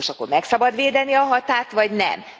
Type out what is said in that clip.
Most akkor meg szabad védeni a határt vagy nem?